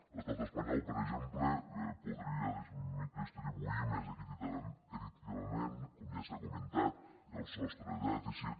l’estat espanyol per exemple podria distribuir més equitativament com ja s’ha comentat el sostre de dèficit